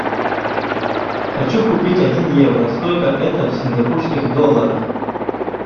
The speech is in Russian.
хочу купить один евро сколько это в сингапурских долларах